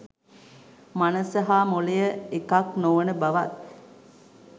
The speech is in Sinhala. මනස හා මොළය එකක් නොවන බවත්